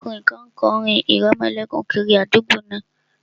Ọkùnrin kan kọ orin ìrẹmọlẹ́kún kiri àdúgbò náà